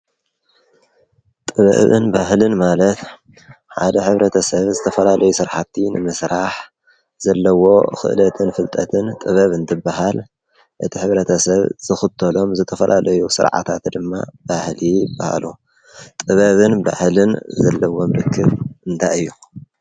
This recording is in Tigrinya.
ጥበብን ባህልን ማለት ሓደ ሕብረተሰብ ዝተፈላለዩ ስራሕቲ ንምስራሕ ዘለዎ ክእለትን ፍልጠትን ጥበብ እንትበሃል እቲ ሕብረተሰብ ዝኽተሎም ዝተፈላለዩ ስርዓታት ድማ ባህሊ ይበሃሉ። ጥበብን ባህልን ዘለዎም ርክብ እንታይ እዩ?